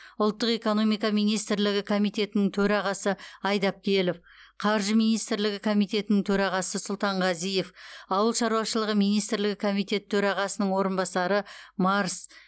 ұлттық экономика министрлігі комитетінің төрағасы айдапкелов қаржы министрлігі комитетінің төрағасы сұлтанғазиев ауыл шаруашылығы министрлігі комитеті төрағасының орынбасары марс